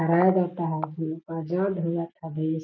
फहराया जाता है और --